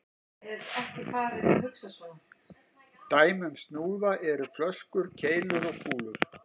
Dæmi um snúða eru flöskur, keilur og kúlur.